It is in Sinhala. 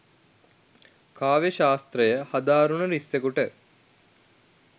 කාව්‍ය ශාස්ත්‍රය හදාරනු රිස්සෙකුට